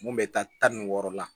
Mun bɛ taa tan ni wɔɔrɔ la